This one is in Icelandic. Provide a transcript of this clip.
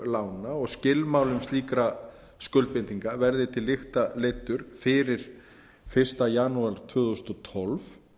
lána og skilmálum slíkra skuldbindinga verði til lykta leiddur fyrir fyrsta janúar tvö þúsund og tólf